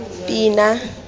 pina